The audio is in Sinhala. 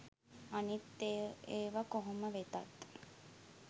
අනිත් ඒව කොහොම වෙතත්